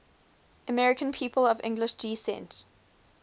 american people of english descent